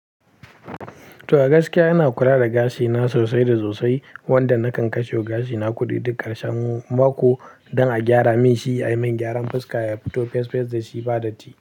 To a gaskiya ina kula da gashina sosai da sosai, wanda nakan kashe gashina kuɗi duk ƙarshen mako don a gyara min shi. Ai min gyaran fuska ya fito fes fes da shi ba datti.